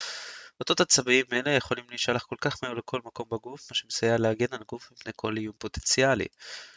אותות עצביים האלה יכולים להישלח כל כך מהר לכל מקום בגוף מה שמסייע להגן על הגוף מפני כל איום פוטנציאלי